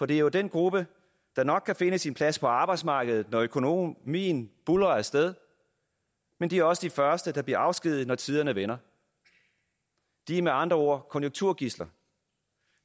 det jo er den gruppe der nok kan finde sin plads på arbejdsmarkedet når økonomien buldrer af sted men de er også de første der bliver afskediget når tiderne vender de er med andre ord konjunkturgidsler